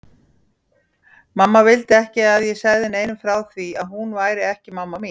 Mamma vildi ekki að ég segði neinum frá því að hún væri ekki mamma mín.